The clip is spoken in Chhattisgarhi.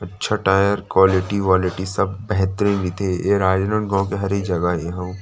अच्छा टायर क्वालिटी सब बेहतरीन ये राजनांदगाव के हरे ए जगा ए हव।